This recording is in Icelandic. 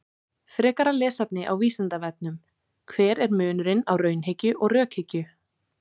Frekara lesefni á Vísindavefnum: Hver er munurinn á raunhyggju og rökhyggju?